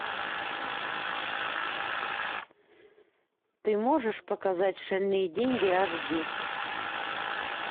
ты можешь показать шальные деньги аш ди